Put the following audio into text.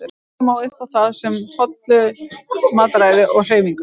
Passa má upp á það með hollu mataræði og hreyfingu.